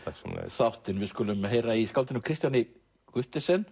þáttinn við skulum heyra í skáldinu Kristian Guttesen